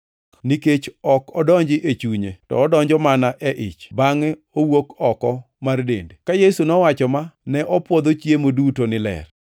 Nikech ok odonji e chunye, to odonjo mana e ich bangʼe owuok oko mar dende.” (Ka Yesu nowacho ma, ne opwodho chiemo duto ni ler.)